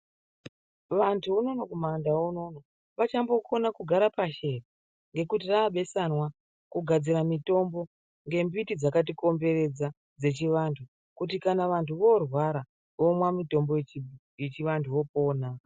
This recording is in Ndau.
Vantu unono kumandau unono vachambokona kugare pashi ere, ngekuti raabesanwa, kugadzira mitombo, ngembiti dzakatikomberedza dzechivanhu kuti kana vantu varwara vomwa mitombo yechii yechivanthu vopona.